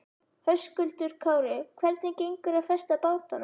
Höskuldur Kári: Hvernig gengur að festa bátana?